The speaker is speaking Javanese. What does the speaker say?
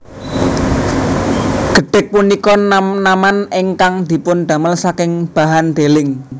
Gedhèg punika nam naman ingkang dipundamel saking bahan deling